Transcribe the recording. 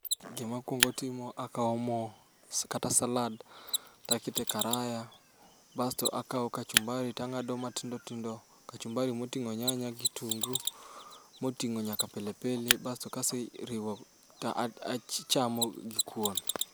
Gima kwongo timo akawo mo kata salad, takete karaya. Basto akawo kachumbari tang'ado matindo tindo, kachumabri moting'o nyanya gi kitungu. Moting'o nyaka pili pili, basto kaseriwo ka achamo gi kuon.